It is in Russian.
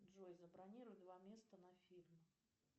джой забронируй два места на фильм